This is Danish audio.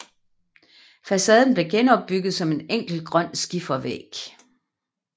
Facaden blev genopbygget som en enkel grøn skifervæg